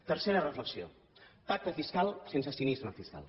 tercera reflexió pacte fiscal sense cinisme fiscal